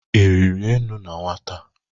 Ị rịrị enu na nwata?